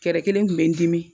Kɛrɛ kelen kun be n dimi